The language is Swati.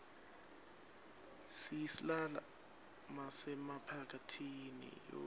siyislala masemaphathini